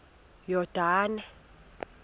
yordane